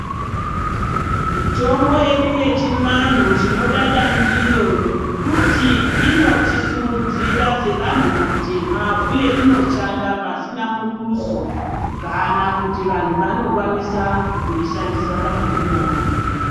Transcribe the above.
Mithombo vedu wechivanhu tinodada ndiyo nokuti inotisimudzira sevanthu atema uye inoshanda pasina muduso kana kuti vanhu vanokwanisa kuishandisa pamadiro avo.